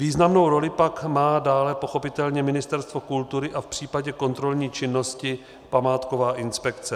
Významnou roli má pak dále pochopitelně Ministerstvo kultury a v případě kontrolní činnosti památková inspekce.